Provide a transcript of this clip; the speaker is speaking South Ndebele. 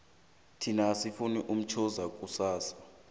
thina asimufuni umshoza kusasa